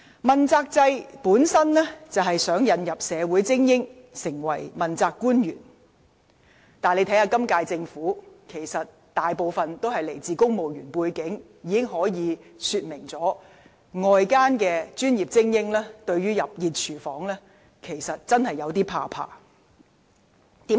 問責制旨在引入社會精英成為問責官員，但今屆政府大部分官員都來自公務員體系，可見外界專業精英對進入"熱廚房"真的有點恐懼。